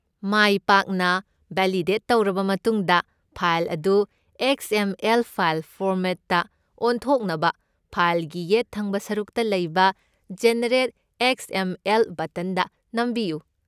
ꯃꯥꯏ ꯄꯥꯛꯅ ꯚꯦꯂꯤꯗꯦꯠ ꯇꯧꯔꯕ ꯃꯇꯨꯡꯗ, ꯐꯥꯏꯜ ꯑꯗꯨ ꯑꯦꯛꯁ. ꯑꯦꯝ. ꯑꯦꯜ. ꯐꯥꯏꯜ ꯐꯣꯔꯃꯦꯠꯇ ꯑꯣꯟꯊꯣꯛꯅꯕ ꯐꯥꯏꯜꯒꯤ ꯌꯦꯠ ꯊꯪꯕ ꯁꯔꯨꯛꯇ ꯂꯩꯕ 'ꯖꯦꯅꯔꯦꯠ ꯑꯦꯛꯁ. ꯑꯦꯝ. ꯑꯦꯜ.' ꯕꯠꯇꯟꯗ ꯅꯝꯕꯤꯌꯨ꯫